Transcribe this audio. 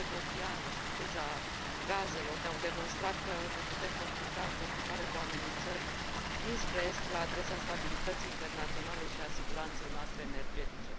Criza georgiană și criza gazelor ne au demonstrat că ne putem confrunta în continuare cu amenințări dinspre est la adresa stabilității internaționale și a siguranței noastre energetice.